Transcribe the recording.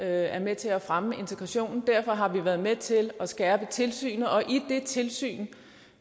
er med til at fremme integrationen derfor har vi været med til at skærpe tilsynet og i det tilsyn